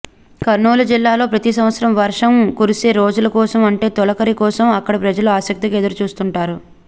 కర్నూలు జిల్లాలో ప్రతి సంవత్సరం వర్షం కురిసే రోజుల కోసం అంటే తొలకరి కోసం అక్కడి ప్రజలు ఆసక్తిగా ఎదురుచూస్తుంటారు